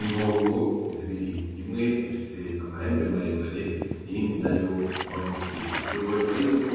Impongo zibiri imwe ifise amahembe maremare iyindi nayo magufi, biboneka yuko